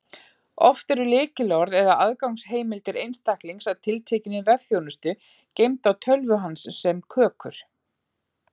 Oft eru lykilorð eða aðgangsheimildir einstaklings að tiltekinni vefþjónustu geymd á tölvu hans sem kökur.